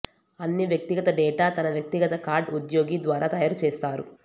అన్ని వ్యక్తిగత డేటా తన వ్యక్తిగత కార్డ్ ఉద్యోగి ద్వారా తయారు చేస్తారు